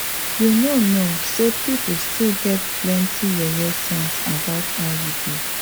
you know know say people still get plenty yeye sense about iuds